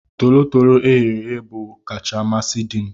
Tolotolo eghere eghe bu kacha amasi dim